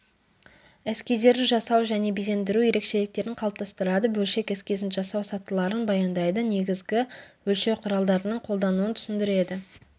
эскиздерді жасау және безендіру ерекшеліктерін қалыптастырады бөлшек эскизін жасау сатыларын баяндайды негізгі өлшеу құралдарының қолдануын түсіндіреді